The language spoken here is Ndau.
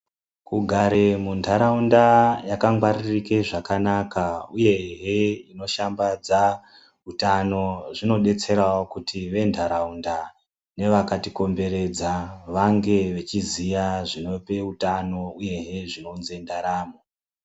Kugare muntaraunda yakangwaririke zvakanaka uyehe inoshambadza utano zvinodetserawo kuti ventaraunda nevakatikomberedza vange vechiziya zvinope utano uyehe zvinounze ndaramo.